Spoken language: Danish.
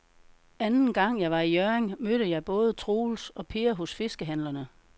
Anden gang jeg var i Hjørring, mødte jeg både Troels og Per hos fiskehandlerne.